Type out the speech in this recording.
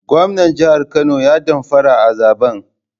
Gwamnan jihar Kano ya damfara a zaben